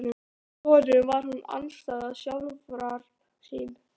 Í honum var hún andstæða sjálfrar sín.